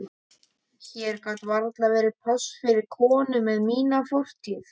Hér gat varla verið pláss fyrir konu með mína fortíð.